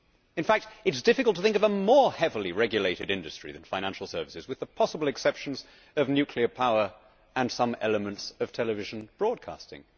In fact, it is difficult to think of a more heavily regulated industry than financial services, with the possible exceptions of nuclear power and some elements of television broadcasting.